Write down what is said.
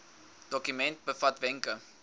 dokument bevat wenke